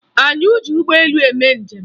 Anyị ji ụgbọelu mee njem